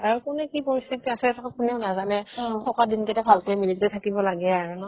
আৰু কোনে কি পৰিস্থিতি আছে কোনেও নাজানে থকা দিন কেইটা ভালকে মিলিজুলি থাকিব লাগে আৰু ন